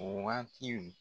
O waati